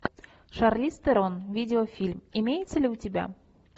шарлиз терон видеофильм имеется ли у тебя